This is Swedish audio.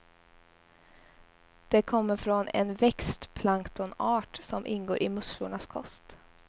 Det kommer från en växtplanktonart som ingår i musslornas kost.